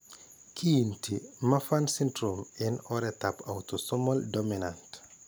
Kiinti Marfan syndrome eng' oretap autosomal dominant.